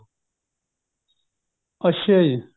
ਅੱਛਾ ਜੀ